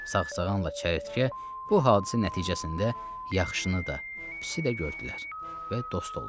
Sağsağanla çəyirtkə bu hadisə nəticəsində yaxşını da, pisi də gördülər və dost oldular.